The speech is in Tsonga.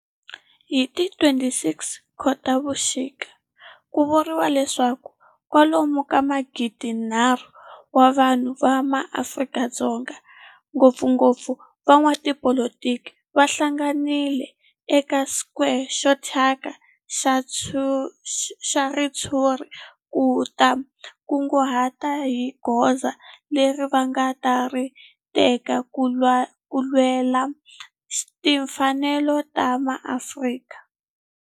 Hi ti 26 Khotavuxika ku vuriwa leswaku kwalomu ka magidinharhu wa vanhu va Afrika-Dzonga, ngopfungopfu van'watipolitiki va hlanganile eka square xo thyaka xa ritshuri ku ta kunguhata hi goza leri va nga ta ri teka ku lwela timfanelo ta maAfrika-Dzonga.